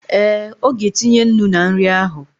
Ee, ọ ga-etinye ńnú na nri ahụ